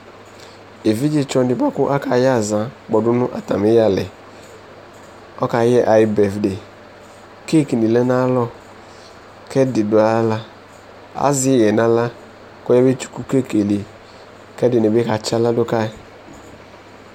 Ɛvidze tsɔ di boa kʋ akayɛ aza kpɔdʋ nʋ atami yalɛ, kʋ ɔkayɛ ayu bɛfʋde Keki ni lɛ nʋ ayalɔ kʋ ɛdi dʋ aɣla Azɛ iɣɛ nʋ aɣla kʋ ɔyabetsʋku keki yɛ li kʋ ɛdi ni bi katsi aɣla dʋ ka yi